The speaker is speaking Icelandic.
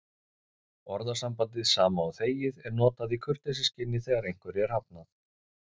Orðasambandið sama og þegið er notað í kurteisisskyni þegar einhverju er hafnað.